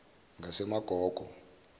ngasemagogo